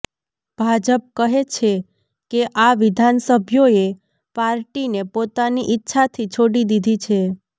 ભાજપ કહે છે કે આ વિધાનસભ્યોએ પાર્ટીને પોતાની ઇચ્છાથી છોડી દીધી છે